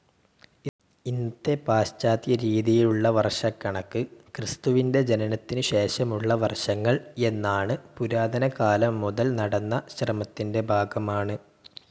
ഇന്നത്തെ പാശ്ചാത്യരീതിയിലുള്ള വർഷക്കണക്ക് ക്രിസ്തുവിൻ്റെ ജനനത്തിനുശേഷമുള്ള വർഷങ്ങൾ എന്നാണ് പുരാതനകാലം മുതൽ നടന്ന ശ്രമത്തിൻ്റെ ഭാഗമാണ്.